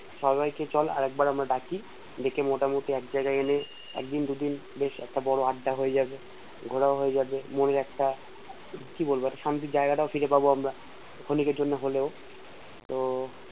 তো সবাইকে চল আরেকবার আমরা ডাকি ডেকে মোটামুটি একজায়গায় এলে একদিন দুদিন বেশ একটা বড় একটা আড্ডা নিয়ে যাবে ঘুরাও হয়ে যাবে মনের একটা কি বলবো শান্তির জায়গাটাও ফিরে পাবো আমরা অনেকের জন্যে হলেও তো